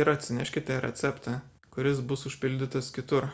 ir atsineškite receptą kuris bus užpildytas kitur